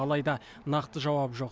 алайда нақты жауап жоқ